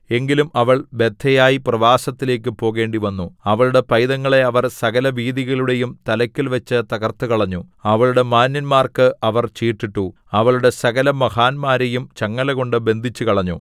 എങ്കിലും അവൾ ബദ്ധയായി പ്രവാസത്തിലേക്കു പോകേണ്ടിവന്നു അവളുടെ പൈതങ്ങളെ അവർ സകലവീഥികളുടെയും തലയ്ക്കൽവച്ചു തകർത്തുകളഞ്ഞു അവളുടെ മാന്യന്മാർക്കു അവർ ചീട്ടിട്ടു അവളുടെ സകലമഹാന്മാരെയും ചങ്ങലകൊണ്ടു ബന്ധിച്ചുകളഞ്ഞു